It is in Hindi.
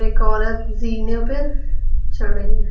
एक औरत जीने पे चढ़ रही है।